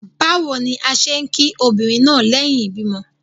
Bawo ni a ṣe ki obinrin naa lẹhin ibimọ